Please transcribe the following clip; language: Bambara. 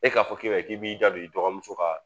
E k'a fɔ k'e bɛ k'i b'i jɔ i dɔgɔmuso ka